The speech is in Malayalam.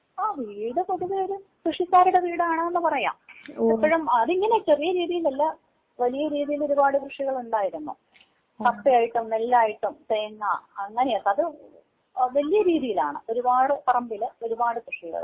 ആഹ് വീട് പൊതുവെ ഒരു കൃഷിക്കാരുടെ വീട് ആണെന്ന് പറയാം. എപ്പഴും അത് ഇങ്ങനെ ചെറിയ രീതിയിലല്ല വലിയ രീതിയില് ഒരുപാട് കൃഷികളുണ്ടായിരുന്നു. മത്ത ആയിട്ടും, നെല്ലായിട്ടും തേങ്ങാ അങ്ങനെയൊക്കെ അത് വല്യ രീതിയിലാണ് ഒരുപാട് പറമ്പില് ഒരുപാട് കൃഷികള്.